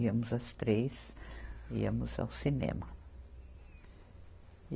Íamos as três, íamos ao cinema.